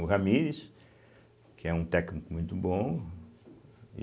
O Ramires, que é um técnico muito bom.